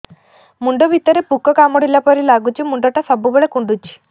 ମୁଣ୍ଡ ଭିତରେ ପୁକ କାମୁଡ଼ିଲା ପରି ଲାଗୁଛି ମୁଣ୍ଡ ଟା ସବୁବେଳେ କୁଣ୍ଡୁଚି